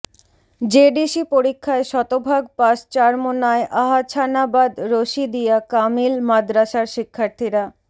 JDC পরীক্ষায় শতভাগ pass Charmonai Ahsanabad Rashidiya Kamil মাদরাসার শিক্ষার্থীরা